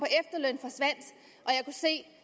se